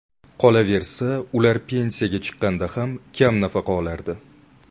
Qolaversa, ular pensiyaga chiqqanda ham kam nafaqa olardi.